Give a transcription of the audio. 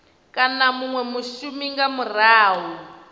kana munwe mushumi nga murahu